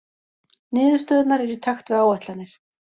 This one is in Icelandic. Niðurstöðurnar eru í takt við áætlanir